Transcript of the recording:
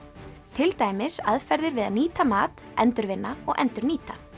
til dæmis aðferðir við að nýta mat endurvinna og endurnýta